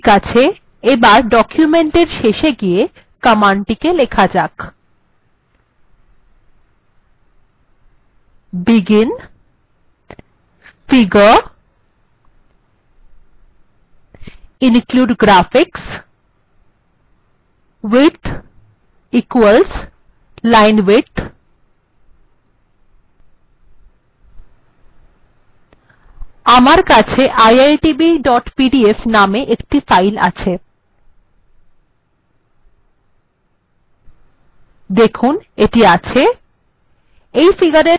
ঠিকআছে এবার এর শেষে গিয়ে কমান্ডটিকে লেখা যাক begin figure include graphics width equals linewidth আমার কাছে iitbpdf নামে একটি ফাইল আছে দেখুন এটি আছে